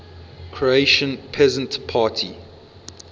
croatian peasant party